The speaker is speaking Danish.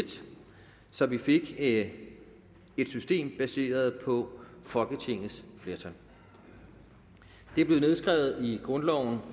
så vi fik et system baseret på folketingets flertal det blev nedskrevet i grundloven